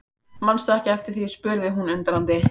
Mannstu ekki eftir því spurði hún undrandi.